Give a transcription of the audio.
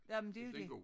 Jamen det jo dét